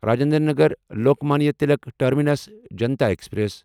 Rajendra Nagar Lokmanya Tilak terminus Janta express